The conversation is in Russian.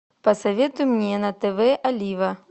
посоветуй мне на тв олива